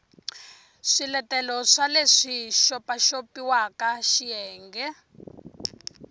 swiletelo swa leswi xopaxopiwaka xiyenge